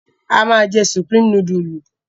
A máa jẹ Supreme núdúlù?